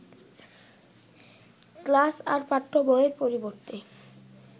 class আর পাঠ্য বইয়ের পরিবর্তে